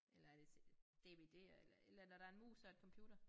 Eller er det dvd'er eller et eller andet og der en mus og et computer